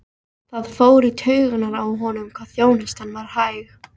Það fór í taugarnar á honum hvað þjónustan var hæg.